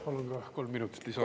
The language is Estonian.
Palun kolm minutit lisaaega.